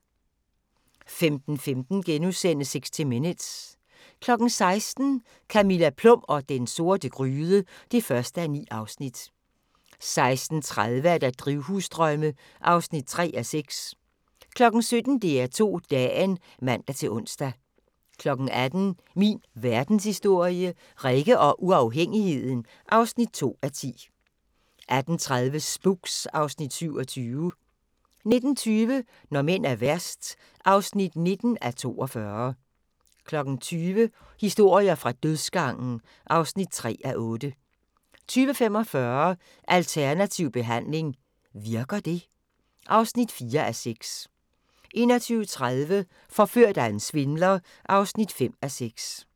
15:15: 60 Minutes * 16:00: Camilla Plum og den sorte gryde (1:9) 16:30: Drivhusdrømme (3:6) 17:00: DR2 Dagen (man-ons) 18:00: Min Verdenshistorie – Rikke og uafhængigheden (2:10) 18:30: Spooks (Afs. 27) 19:20: Når mænd er værst (19:42) 20:00: Historier fra dødsgangen (3:8) 20:45: Alternativ behandling - virker det? (4:6) 21:30: Forført af en svindler (5:6)